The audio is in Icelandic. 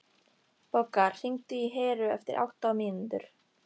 Bogga, hringdu í Heru eftir átta mínútur.